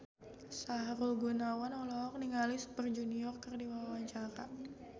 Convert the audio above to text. Sahrul Gunawan olohok ningali Super Junior keur diwawancara